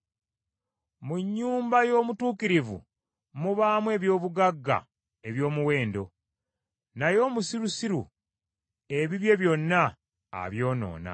Mu nnyumba y’omutuukirivu mubaamu eby’obugagga eby’omuwendo, naye omusirusiru ebibye byonna abyonoona.